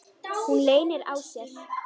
Hún leynir á sér.